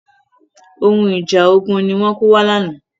Ohun ìjà ogun ni wọ́n kó wá lánàá.